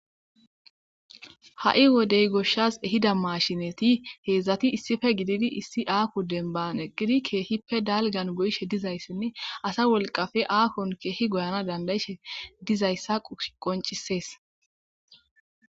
Ha'i wodey goshas ehida mashinet hezdzdati issippe gidid issi aaho demban eqid keehippe dalgan goyishe dizaysani asa wolqappe aahon Keehi goyana danda'ishe dizaysa qoncises.